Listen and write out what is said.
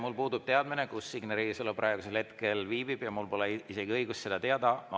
Mul puudub teadmine, kus Signe Riisalo praegusel hetkel viibib, ja mul pole isegi õigust seda teada.